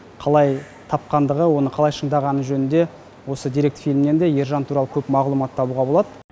қалай тапқандығы оны қалай шыңдағаны жөнінде осы деректі фильмнен де ержан туралы көп мағлұмат табуға болады